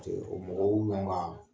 O mɔgɔw yanga